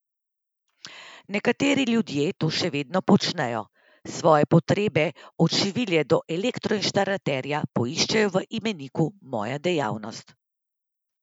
Nekateri ljudje to se vedno počnejo, svoje potrebe od šivilje do elektroinštalaterja, poiščejo v imeniku Moja dejavnost.